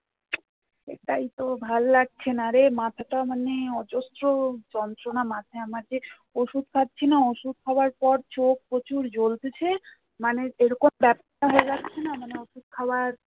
সেটাই তো ভাল লাগছে না রে মাথাটা মানে অজস্র যন্ত্রনা মাথায় আমার যে ওষুধ খাচ্ছি না ওষুধ খাওয়ার পর চোখ প্রচুর জ্বলছে মানে এরকম ব্যাথা হয়ে যাচ্ছে না মানে ওষুধ খাবার